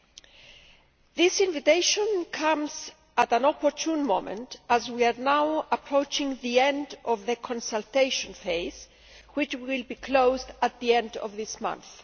2008. That invitation comes at an opportune moment, as we are now approaching the end of the consultation phase, which will be closed at the end of this month.